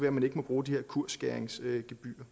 at man ikke må bruge de her kursskæringsgebyrer